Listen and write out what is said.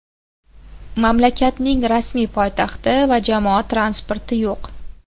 Mamlakatning rasmiy poytaxti va jamoat transporti yo‘q.